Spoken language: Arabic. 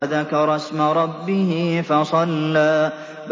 وَذَكَرَ اسْمَ رَبِّهِ فَصَلَّىٰ